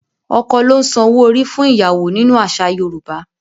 Ọkọ ló ń san owó orí fún ìyàwó nínú àṣà Yorùbá.